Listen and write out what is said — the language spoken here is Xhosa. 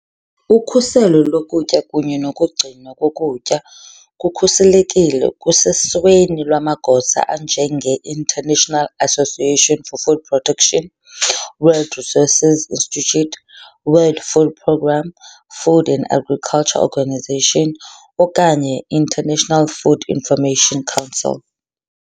Ukhuseleko lokutya kunye nokugcinwa kokutya kukhuselekile kusesweni lwamagosa anjengeInternational Association for Food Protection, World Resources Institute, World Food Programme, Food and Agriculture Organization, okanye International Food Information Council.